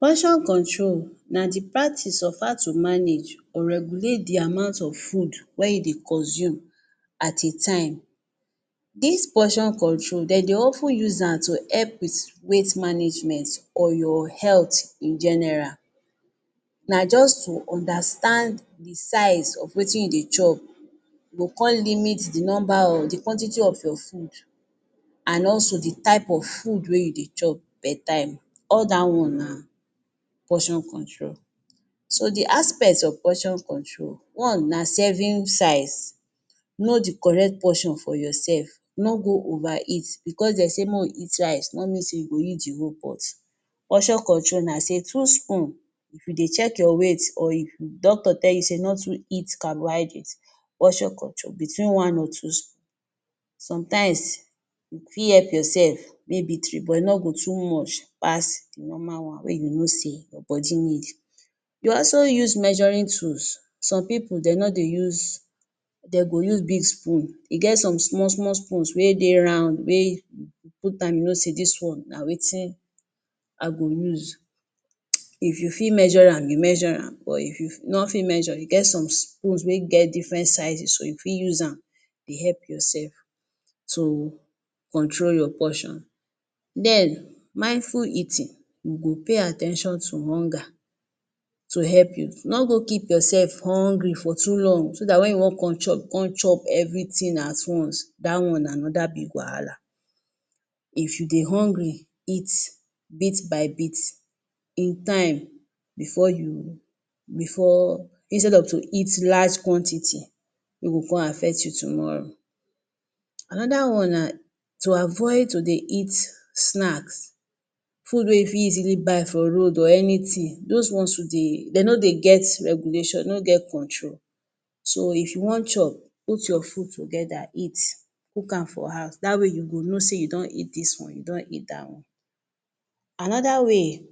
Portion control na the practice of how to manage or regulate the amount of food wey you dey consume at a time. Dis portion control, de dey of ten use am to help with weight management or your health in general. Na juz to understand the size of wetin you dey chop. You go con limit the nomba of the quantity of your food, an also the type of food wey you dey chop per time. All dat one na portion control. So, the aspects of portion control, one na serving size. Know the correct portion for yoursef. No go over-eat. Bicos de say make we eat rice no mean sey you go eat the whole pot. Portion control na sey two spoon, if you dey check your weight or if you doctor tell you sey no too eat carbohydrate, portion control, between one or two spoon. Sometimes, you fit help yoursef, maybe three, but e no go too much pass the normal one wey you go know sey your body need. We also use measuring tools. Some pipu, de no dey use, de go use big spoon. E get some small-small spoons wey dey round wey put am, you know sey dis one, na wetin I go use. [hiss] If you fit measure am, you measure am, but if you no fit measure, e get some spoons wey get different sizes so you fit use am dey help yoursef to control your portion Then, mindful eating. You go pay at ten tion to hunger to help you. No go keep yoursef hungry for too long so dat wen you wan con chop, you con chop everything at once. Dat one na another big wahala. If you dey hungry, eat bit by bit in time before you before instead of to eat large quantity wey go con affect you tomorrow. Another one na to avoid to dey eat snacks food wey you fit easily buy for road or anything. Dos ones too dey, de no dey get regulation, de no get control. So, if you wan chop, put your food together eat, cook am for house. Dat way, you go know sey you don eat dis one, you don eat dat one. Another way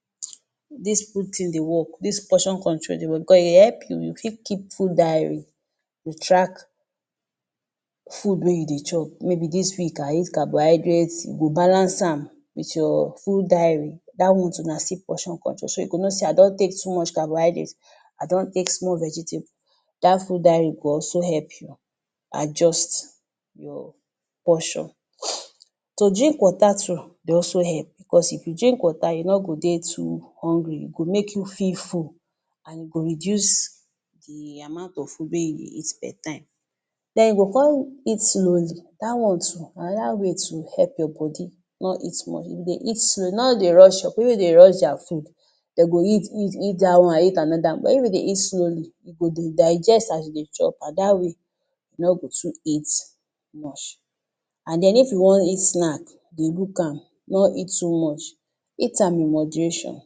[hiss] dis food tin dey work, dis portion control dey work bicos e help you, you fit keep food diary to track food wey you dey chop maybe dis week, I eat carbohydrate, you go balance am with your food diary. Dat one too na still portion control. So you go know sey I don take too much carbohydrate, I don take small vegetable. Dat food diary go also help you adjust your portion. To drink water too dey also help, becos if you drink water, you no go dey too hungry. E go make you feel full, an e go reduce the amount of food wey you will eat per time. Then you go con eat slowly. Dat one too, na another wey to help your body no eat much. If you dey eat slow no dey rush your. Pipu wey dey rush dia food, de go eat eat eat dat one, eat another, but if you dey eat slowly, e go dey digest as de dey chop, an dat way, no go too eat much. An then if you wan eat snack, de look am, no eat too much. Eat am in moderation.